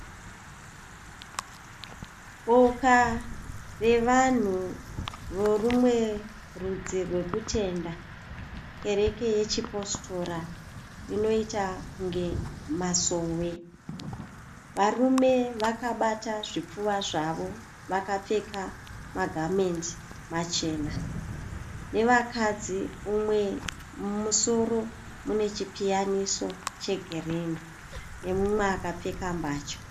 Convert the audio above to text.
Boka revanhu vorumwe rudzi rwekutenda. Kereke yechiPositora inoita kunge Masowe. Varume vakabata zvipfuva zvavo vakapfeka magamendi machena nevakadzi umwe ane chipiyaniso chegirinhi nemumwe akapfeka mbatya.